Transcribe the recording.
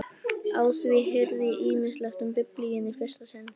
Á því heyrði ég ýmislegt um Biblíuna í fyrsta sinn.